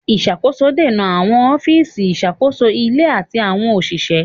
Ìṣàkóso dènà àwọn ọ́fíìsì ìṣàkóso ilé àti àwọn òṣìṣẹ́.